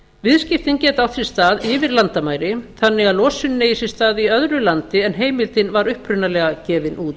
viðskiptin geta átt sér stað yfir landamæri þannig að losunin eigi sér stað í öðru landi en heimildin var upprunalega gefin út